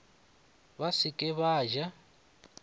ba se ke ba ja